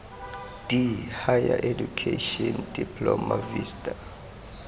d higher education diploma vista